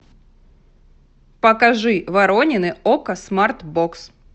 покажи воронины окко смарт бокс